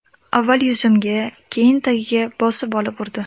Avval yuzimga, keyin tagiga bosib olib urdi.